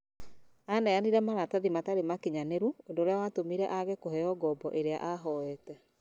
Aneanire maratathi matarĩ makinyanĩru ũndũ ũria watũmire age kũheo ngombo ĩrĩa ahoete